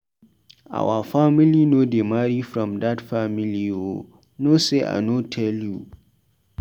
Our family no dey marry from dat family o, no sey I no tell you.